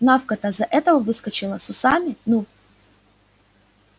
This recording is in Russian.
навка-то за этого выскочила с усами ну